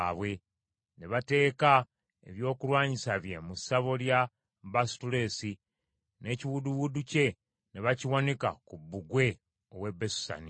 Ne bateeka ebyokulwanyisa bye mu ssabo lya Baasutoleesi, n’ekiwudduwuddu kye ne bakiwanika ku bbugwe ow’e Besusani.